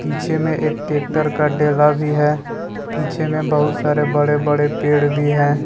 पीछे में एक ट्रेक्टर का डेला भी है पीछे में बहुत सारे बड़े बड़े पेड़ भी है।